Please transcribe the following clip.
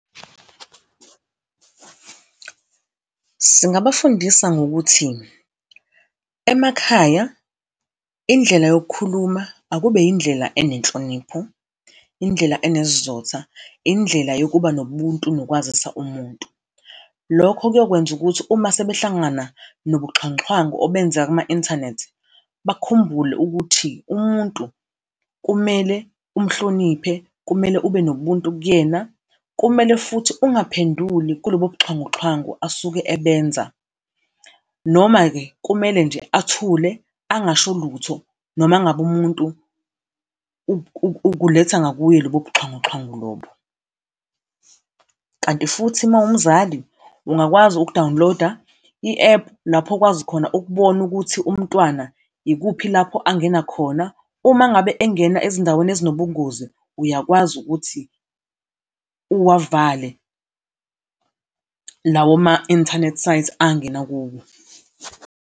Singabafundisa ngokuthi, emakhaya indlela yokukhuluma akube indlela enenhlonipho, indlela onesizotha, indlela yokuba nobuntu nokwazisa umuntu. Lokho kuyokwenza ukuthi uma sebehlangana nobuxhwanguxhwangu obenzeka kuma-inthanethi, bakhumbule ukuthi umuntu kumele umhloniphe, kumele ube nobuntu kuyena. Kumele futhi ungaphenduli kulobo buxhwanguxhwangu asuke ebenza. Noma-ke kumele nje athule, angasho lutho, noma ngabe umuntu ukuletha ngakuye lobo buxhwanguxhwangu lobo. Kanti futhi uma uwumzali, ungakwazi ukudawuniloda i-app, lapho okwazi khona ukubona ukuthi umntwana ikuphi lapho angena khona. Uma ngabe engena ezindaweni ezinobungozi, uyakwazi ukuthi uwavale lawo ma-internet sites angena kuwo.